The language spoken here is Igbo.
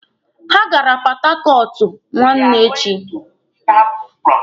Ha gara Pọthakọọtụ nwanne echi.